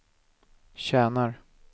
tjänar